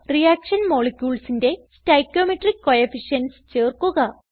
reaction moleculesന്റെ stoichiometric coefficients ചേർക്കുക